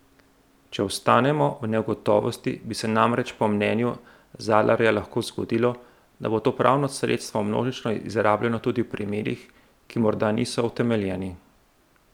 Če ostanemo v negotovosti, bi se namreč po mnenju Zalarja lahko zgodilo, da bo to pravno sredstvo množično izrabljano tudi v primerih, ki morda niso utemeljeni.